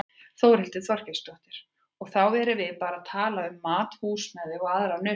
Þórhildur Þorkelsdóttir: Og þá erum við bara að tala um mat, húsnæði og aðrar nauðsynjar?